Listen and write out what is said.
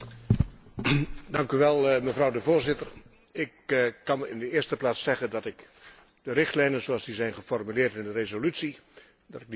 Mevrouw de Voorzitter, ik kan in de eerste plaats zeggen dat ik de richtlijnen zoals die zijn geformuleerd in de resolutie volkomen kan onderschrijven.